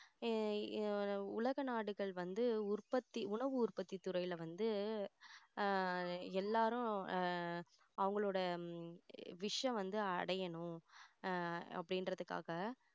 ஆஹ் அஹ் உலக நாடுகள் வந்து உற்பத்தி உணவு உற்பத்தி துறையில வந்து ஆஹ் எல்லாரும் ஆஹ் அவங்களோட wish ச வந்து அடையணும் அஹ் அப்படின்றதுக்காக